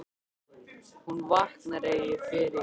Hún vaknar ef ég fer inn.